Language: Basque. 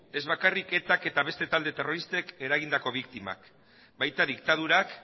ez bakarrik etak eta beste talde terroristen eragindako biktimak baita diktadurak